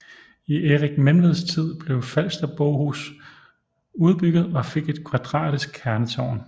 I Erik Menveds tid blev Falsterbohus udbygget og fik et kvadratisk kernetårn